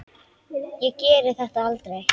Ég geri þetta aldrei.